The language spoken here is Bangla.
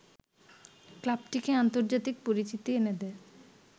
ক্লাবটিকে আন্তর্জাতিক পরিচিতি এনে দেয়